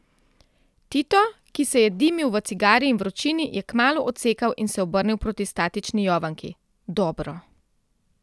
Tito, ki se je dimil v cigari in vročini, je kmalu odsekal in se obrnil proti statični Jovanki: 'Dobro.